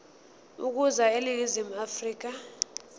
ukuza eningizimu afrika